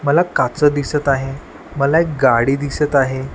मला काचं दिसत आहे मला एक गाडी दिसत आहे.